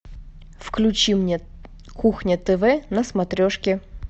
включи мне кухня тв на смотрешке